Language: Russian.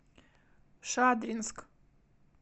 шадринск